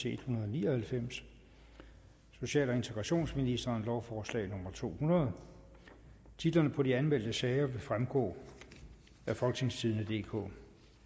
en hundrede og ni og halvfems social og integrationsministeren lovforslag nummer l to hundrede titlerne på de anmeldte sager vil fremgå af folketingstidende DK